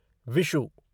Vishu